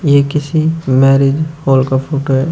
ये किसी marriage hall का फोटो है।